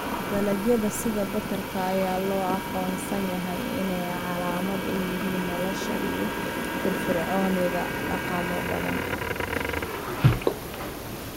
Dalagyada sida badarka ayaa loo aqoonsan yahay inay calaamad u yihiin nolosha iyo firfircoonida dhaqamo badan.